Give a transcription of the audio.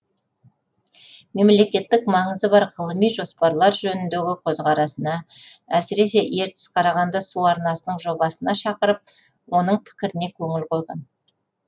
мемлекеттік маңызы бар ғылыми жоспарлар жөніндегі көзқарасына әсіресе ертіс қарағанды су арнасының жобасына шақырып оның пікіріне көңіл қойған